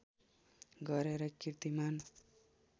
गरेर किर्तिमान